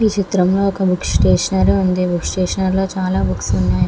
ఈ చిత్రం లో ఒక బుక్ స్టేషనరీ ఉంది. ఈ బుక్ స్టేషనరీ లో చాల బుక్స్ ఉన్నాయి.